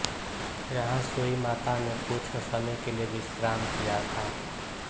यहाँ सूई माता नें कुछ समय के लिए विश्राम किया था